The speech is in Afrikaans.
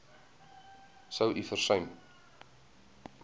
sou u versuim